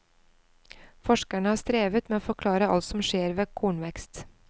Forskerne har strevet med å forklare alt som skjer ved kornvekst.